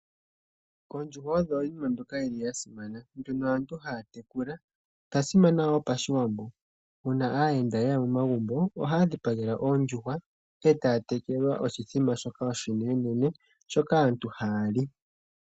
Oondjuhwa odho iinima mbyoka yi li ya simana mbyono aantu haya tekula. Odha simana wo pashiwambo, uuna aayenda ye ya momagumbo ohaya dhipagelwa ondjuhwa, e taya telekelwa oshithima shoka oshinenene shoka aantu haya li.